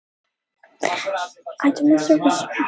Þeir örva jafnframt niðurbrot prótína og fitu.